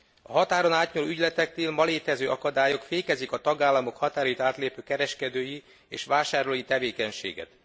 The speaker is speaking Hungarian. A határon átnyúló ügyleteknél ma létező akadályok fékezik a tagállamok határait átlépő kereskedői és vásárlói tevékenységet.